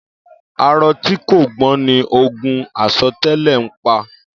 Áàrọ̀ ti kó gbọ̀n ni ógùn àsọtẹlẹ̀ n pá